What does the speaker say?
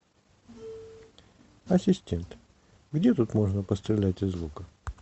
ассистент где тут можно пострелять из лука